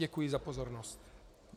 Děkuji za pozornost.